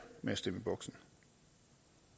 med at stemme